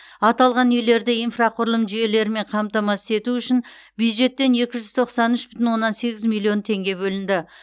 аталған үйлерді инфрақұрылым жүйелерімен қамтамасыз ету үшін бюджеттен екі жүз тоқсан үш бүтін оннан сегіз миллион теңге бөлінді